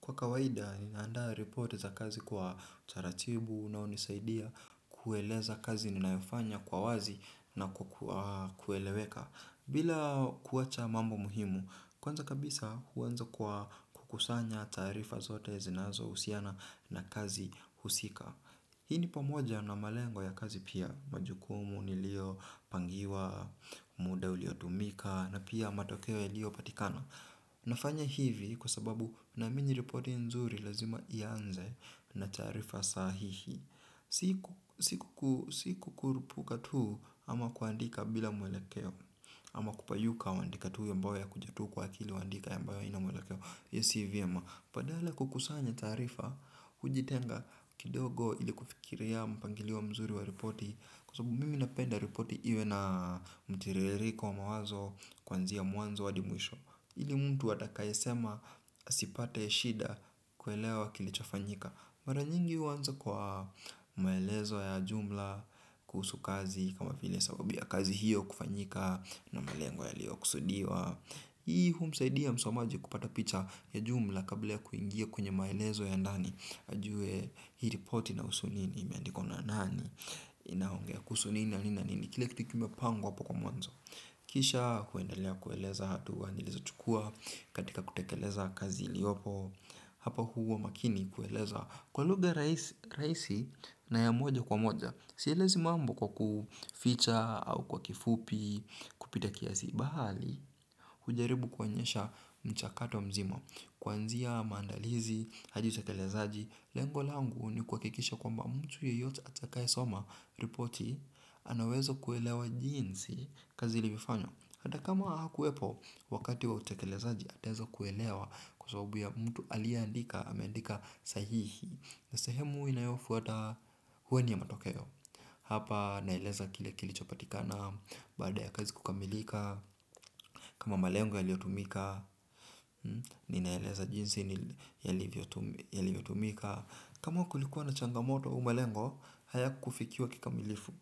Kwa kawaida, ninaandaa riport za kazi kwa taratibu na hunisaidia kueleza kazi ninayofanya kwa wazi na kwa kueleweka. Bila kuwacha mambo muhimu, kwanza kabisa huanza kwa kukusanya tarifa zote zinazohusiana na kazi husika. Hii ni pamoja na malengo ya kazi pia, majukumu nilio pangiwa, muda uliotumika, na pia matokeo yaliopatikana. Nafanya hivi kwa sababu naamini riporti nzuri lazima ianze na taarifa sahihi. Si kukurupuka tu ama kuandika bila mwelekeo. Ama kupayuka waandika tu yambayo yakuja tu kwa akili waandika yambayo haina mwelekeo hiyo si vyema. Badala ya kukusanya taarifa hujitenga kidogo ili kufikiria mpangilio mzuri wa riporti. Kwa sababu mimi napenda riporti iwe na mtiririko mawazo kuanzia mwanzo hadi mwisho. Ili mtu atakaye sema asipate shida kuelewa kilichofanyika. Mara nyingi huanza kwa maelezo ya jumla kuhusu kazi kama vile sababu ya kazi hiyo kufanyika na malengo yalio kusudiwa. Hii humsaidia msomaji kupata picha ya jumla kabla ya kuingia kwenye maelezo ya ndani. Ajue hii ripoti inahusu nini imeandikwa na nani inaongea kuhusu nini na nini na nini kila kitu ikiwa kimepangwa hapo kwa mwanzo. Kisha kuendalea kueleza hatua nilizochukua katika kutekeleza kazi liopo hapa huwa makini kueleza kwa lugha rahisi na ya moja kwa moja sielezi mambo kwa kuficha au kwa kifupi kupita kiasi bali. Hujaribu kuonyesha mchakato mzima. Kuanzia maandalizi, hadi utekelezaji. Lengo langu ni kuhakikisha kwamba mtu yeyote atakayesoma ripoti ana uwezo kuelewa jinsi kazi ilivyofanywa. Hata kama hakuwepo, wakati wa utakelezaji ataweza kuelewa. Kwa sababu ya mtu aliaandika, ameandika sahihi. Na sehemu inayofuata huwa ni ya matokeo. Hapa naeleza kile kilichopatikana. Baada ya kazi kukamilika. Kama malengo yaliotumika, ninaeleza jinsi yalivyotumika. Kama kulikuwa na changamoto au malengo, haya kufikiwa kikamilifu.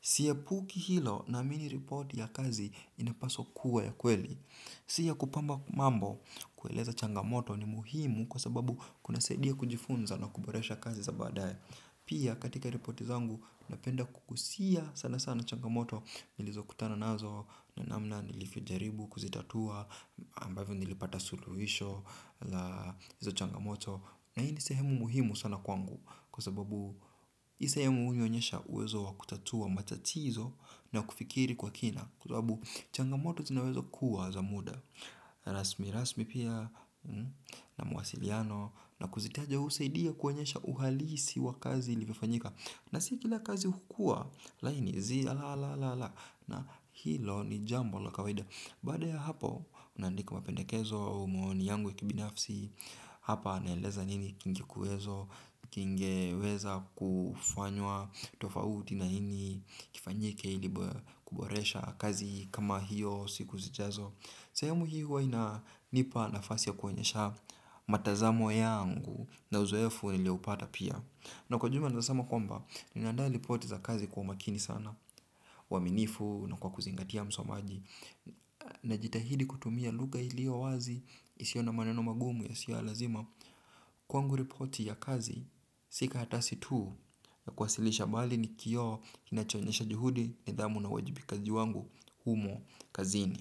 Siepuki hilo naamini riporti ya kazi inapaswa kuwa ya kweli. Si ya kupamba mambo, kueleza changamoto ni muhimu kwa sababu kunasaidia kujifunza na kuboresha kazi za badaye. Pia katika riporti zangu, napenda kukusia sana sana changamoto nilizo kutana nazo na namna nilivyojaribu kuzitatua ambavyo nilipata suluhisho la hizo changamoto na hii ni sehemu muhimu sana kwangu kwa sababu hii sehemu hunionyesha uwezo wa kutatua matatizo na kufikiri kwa kina kwa sababu changamoto zinaweza kuwa za muda rasmi rasmi pia na mawasiliano na kuzitaja husaidia kuonyesha uhalisi wa kazi ilivyofanyika na si kila kazi hukuwa laini zii la la la na hilo ni jambo la kawaida. Baada ya hapo unaandika mapendekezo au maoni yangu ya kibinafsi. Hapa naeleza nini kingekuwezo. Kingeweza kufanywa tofauti na hini kifanyike ili kuboresha kazi kama hiyo siku zijazo. Sehemu hii huwa inanipa nafasi ya kuonyesha matazamo yangu na uzoefu nilioupata pia. Na kwa jumla naeza sema kwamba, ninandaa ripoti za kazi kwa umakini sana uaminifu na kwa kuzingatia msomaji na jitahidi kutumia lugha ilio wazi isio na maneno magumu yasiyo ya lazima kwangu riporti ya kazi si karatasi tu ya kuwasilisha bali ni kioo kinachoonyesha juhudi nidhamu na uwajibikaji wangu humo kazini.